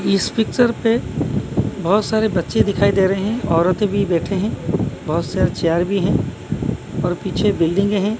इस पिक्चर पे बहोत सारे बच्चे दिखाई दे रहे हैं औरतें भी बैठे हैं बहोत सारे चार भी हैं और पीछे बिल्डिंगे हैं।